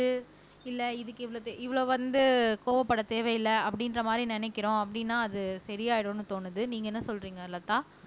இல்ல இதுக்கு இவ்வளவு தே இவ்வளவு வந்து கோவப்பட தேவையில்லை அப்படின்ற மாரி நினைக்கிறோம் அப்படின்னா அது சரியாயிடும்ன்னு தோணுது நீங்க என்ன சொல்றீங்க லதா